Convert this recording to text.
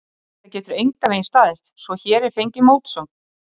Þetta getur engan veginn staðist, svo hér er fengin mótsögn.